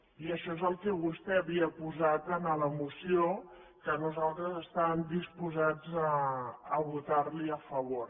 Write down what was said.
i això és el que vostè havia posat a la moció que nosaltres estàvem disposats a votar li a favor